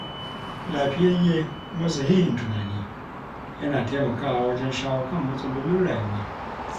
Lafiyayye kuma sahihin tunani yana taimakawa wajen shawo kan matsalolin rayuwa.